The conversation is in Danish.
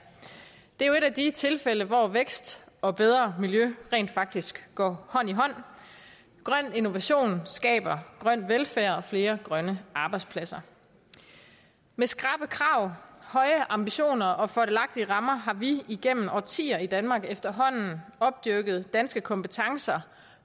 det er jo et af de tilfælde hvor vækst og bedre miljø rent faktisk går hånd i hånd grøn innovation skaber grøn velfærd og flere grønne arbejdspladser med skrappe krav høje ambitioner og fordelagtige rammer har vi igennem årtier i danmark efterhånden opdyrket danske kompetencer